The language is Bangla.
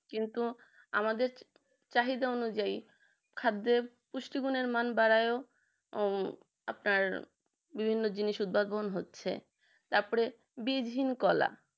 কিন্তু আমাদের চাহিদা অনুযায়ী খাদ্যের পুষ্টি গুনের মান বাড়ায় আহ আপনার বিভিন্ন জিনিস উদ্ভাবন হচ্ছে তারপরে বীজহীন কলা